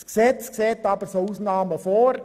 Das Gesetz sieht aber auch Ausnahmen vor.